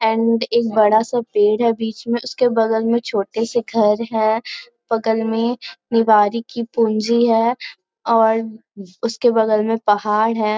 And एक बड़ा सा पेड़ है बीच में उसके बगल में छोटे से घर है बगल में निवारी की पूंजी है और उसके बगल में पहाड़ है।